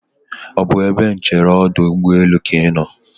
ọ bụ ebe nchere ọdụ ụgbọelụ ka ị nọ?